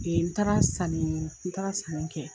N taara sanni n taara sanni kɛ